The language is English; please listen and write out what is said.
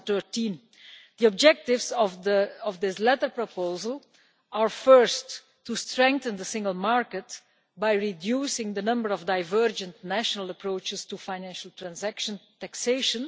2013. The objectives of this latter proposal are first, to strengthen the single market by reducing the number of divergent national approaches to Financial Transaction Taxation